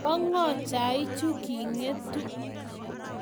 bo ng'o chaichu king'etu?